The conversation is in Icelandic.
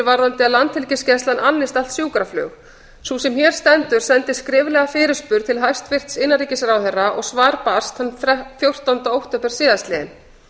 um að landhelgisgæslan annist allt sjúkraflug sú sem hér stendur sendi skriflega fyrirspurn til hæstvirts innanríkisráðherra og svar barst þann fjórtánda október síðastliðinn